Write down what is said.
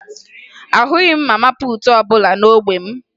Ahụghị m mama puutu ọbụla n'ógbè m